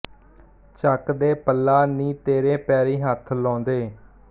ਚੱਕ ਦੇ ਪੱਲਾ ਨੀ ਤੇਰੇ ਪੈਰੀ ਹੱਥ ਲਾਉਦੇ